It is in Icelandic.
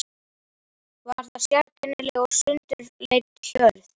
Var það sérkennileg og sundurleit hjörð.